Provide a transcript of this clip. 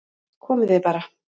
Komið þið bara